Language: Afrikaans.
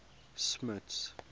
smuts